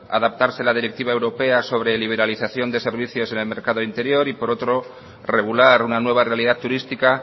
adaptarse a la directiva europea sobre liberación de servicios en el mercado interior y por otro regular una nueva realidad turística